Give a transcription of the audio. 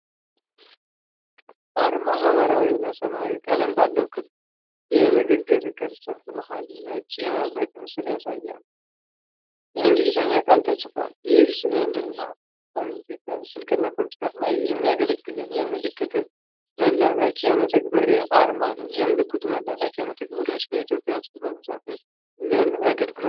አርማው ሐምራዊ እና ሰማያዊ ቀለም ባለው ክብ የንግግር ቅርጽ መሃል ነጭ የመብረቅ ምልክት ያሳያል። የእንግሊዝኛ ቃል ተጽፏል። ይህ ስልክና ኮምፒዩተር ላይ የሚያገለግል የመልዕክት መላላኪያ መተግበሪያ አርማ ነው። የመልዕክት መላላኪያ መተግበሪያዎች በኢትዮጵያ ውስጥ በብዛት ለምን አገልግሎት ይውላሉ?